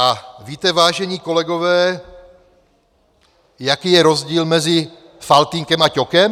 A víte, vážení kolegové, jaký je rozdíl mezi Faltýnkem a Ťokem?